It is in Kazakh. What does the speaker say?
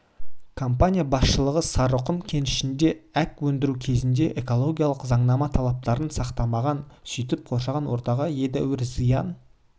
компания басшылығы сары-құм кенішінде әк өндіру кезінде экологиялық заңнама талаптарын сақтамаған сөйтіп қоршаған ортаға едәуір зиян